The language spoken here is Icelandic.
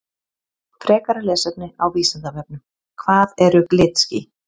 Frekara lesefni á Vísindavefnum Hvað eru glitský?